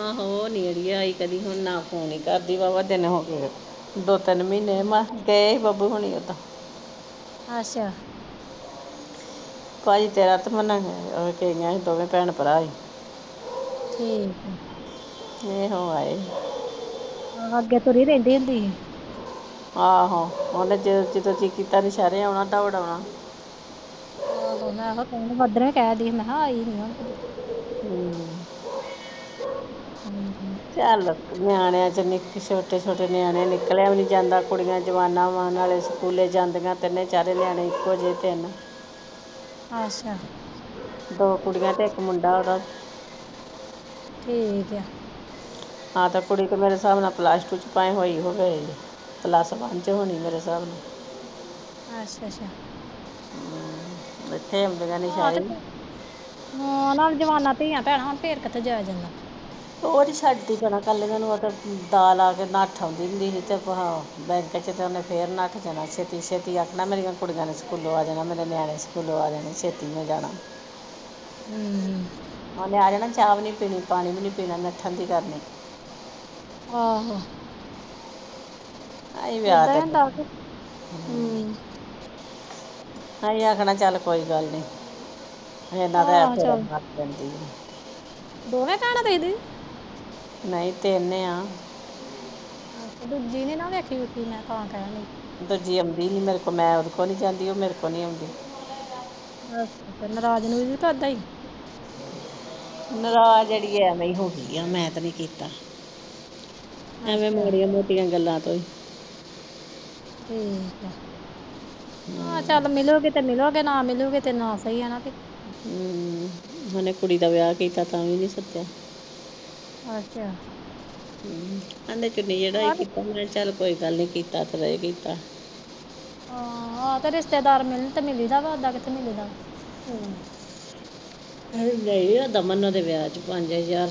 ਆਓ ਉਹ ਲਿਆਈ ਕਦੀ ਹੋਣ ਨਾ ਫੋਨ ਕਰਦੀ ਵਾਵਾ ਦਿਨ ਹੋਗੇ ਦੋ ਤਿੰਨ ਮਹੀਨੇ,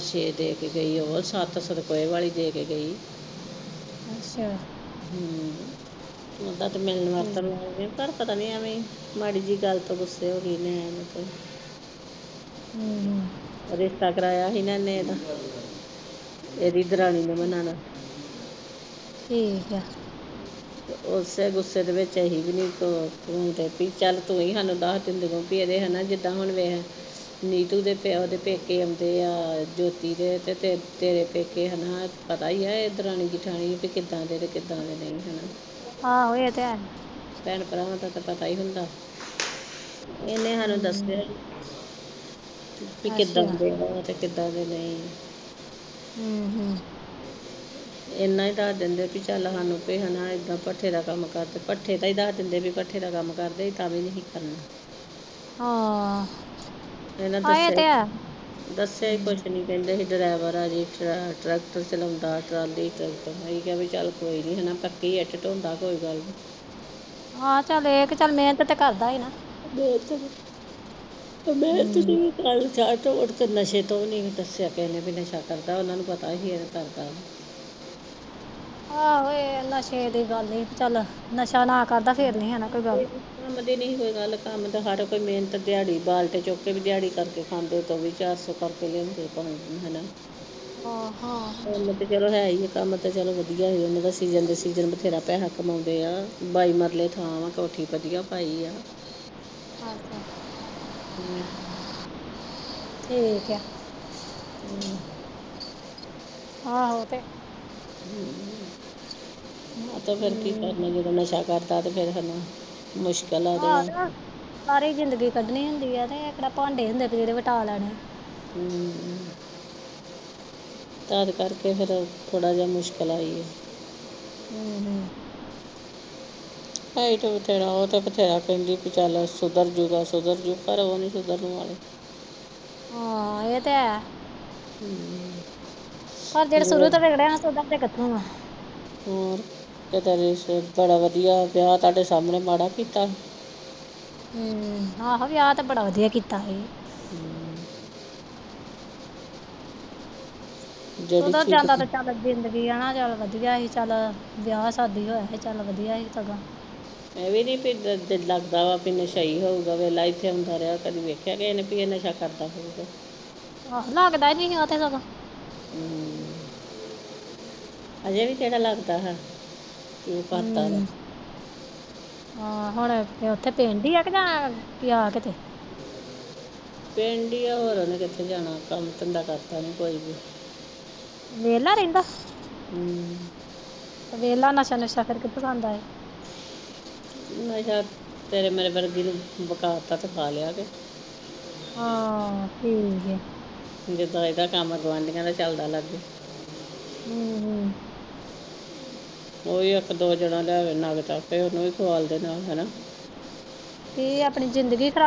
ਮਸਤ ਏ ਬੱਬੂ ਹੁਣੀ ਓਦਾ।